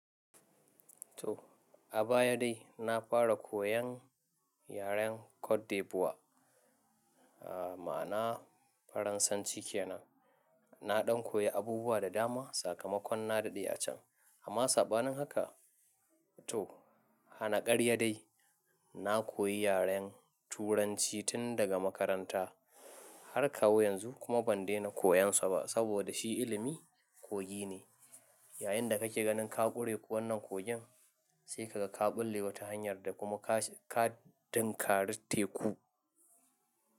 To a baya dai na fara koyan yaren Cote d’Ivoire mana'a Faransanci kenan. Na ɗan koyi abubuwa da dama sakamakon na daɗe a can. Amma sabanin haka to hana ƙarya dai na koyi yaren Turanci tun daga makaranta har kawo yanzu kuma ban daina koyon sa ba saboda shi ilimi kogi ne. Yayin da kake ganin ka ƙure wannan kogin sai ka ga ka ɓulle wata hanyar da kuma ka ka tinkari teku.